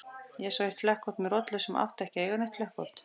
Ég sá eitt flekkótt með rollu sem átti ekki að eiga neitt flekkótt.